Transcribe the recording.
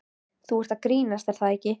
Þú ert að grínast er það ekki?